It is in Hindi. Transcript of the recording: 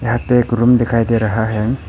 यहां पे एक रूम दिखाई दे रहा हैं।